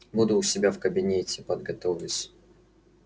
буду у себя в кабинете подготовлюсь